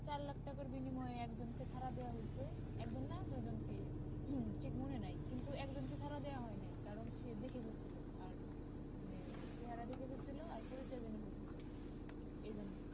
চার লাক টাকার বিনিময়ে একজন কে ছাড়া দেওয়া হয়েছে এক জন না দুই জন কে হম ঠিক মনে নাই কিন্তু একজন কে ছাড়া দেওয়া হয়নি কারণ সে দেখে ফেলছিলো আর মানে চেহারা দেখে ফেলেছিলো আর পরিচয় জেনে ফেলছিলো এর জন্য